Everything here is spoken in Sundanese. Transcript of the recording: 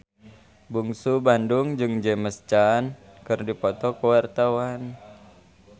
Bungsu Bandung jeung James Caan keur dipoto ku wartawan